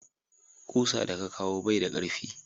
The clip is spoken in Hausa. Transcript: ƙusa da ka kawo bai da karfi